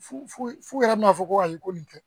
Fu fu yɛrɛ bɛna fɔ ko ayi ko nin tɛ